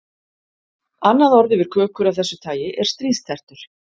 Annað orð yfir kökur af þessu tagi er stríðstertur.